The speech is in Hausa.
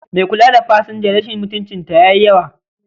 Mai kula da pasanja rashin mutuncin ta yayi yawa